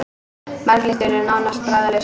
Marglyttur eru nánast bragðlausar.